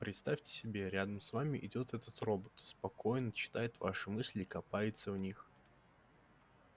представьте себе рядом с вами идёт этот робот спокойно читает ваши мысли и копается в них